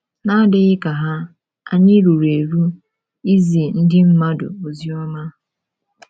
N’adịghị ka ha, ànyị ruru eru izi ndị mmadụ ozioma?